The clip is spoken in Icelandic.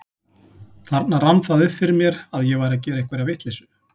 Þarna rann það upp fyrir mér að ég væri að gera einhverja vitleysu.